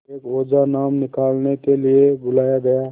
एक ओझा नाम निकालने के लिए बुलाया गया